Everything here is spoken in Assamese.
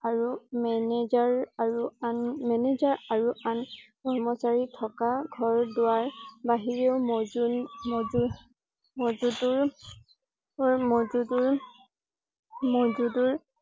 আৰু manager আৰু আন manager আৰু আন কৰ্মচাৰী থকা ঘৰ দুৱাৰ বাহিৰেও মজুনমঞ্জুৰমজুদুৰমযুদুৰমযুদুৰ